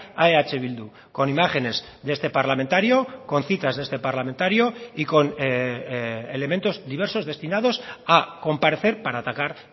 a eh bildu con imágenes de este parlamentario con citas de este parlamentario y con elementos diversos destinados a comparecer para atacar